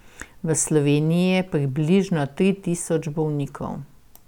V Sloveniji je približno tri tisoč bolnikov.